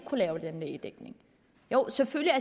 lave den lægedækning selvfølgelig